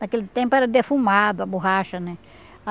Naquele tempo era defumado a borracha, né?